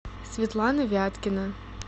светлана вяткина